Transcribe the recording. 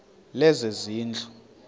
lezezindlu